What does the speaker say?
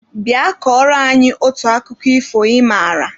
Bịa kọrọ anyị otu akụkọ ifo ị maara!